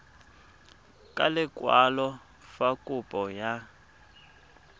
ka lekwalo fa kopo ya